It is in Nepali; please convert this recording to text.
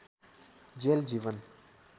जेल जीवन